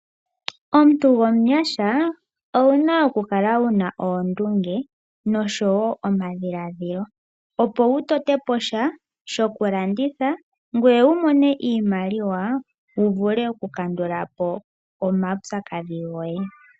Omuntu gomugundjuka owuna okukala wuna oondunge nosho woo omadhiladhilo opo wu tote po sha shoku landitha ngoye wumone iimaliwa wu vule oku kandulapo omawupyakadhi goye.